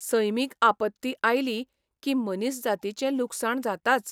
सैमीक आपत्ती आयली की मनीसजातीचें लुकसाण जाताच.